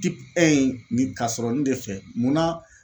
nin ka sɔrɔ nin de fɛ munna